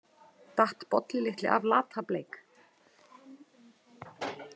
Datt Bolli litli af Lata- Bleik?